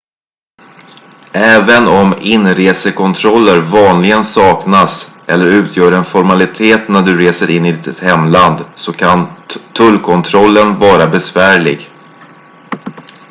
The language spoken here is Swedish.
även om inresekontroller vanligen saknas eller utgör en formalitet när du reser in i ditt hemland så kan tullkontrollen vara besvärlig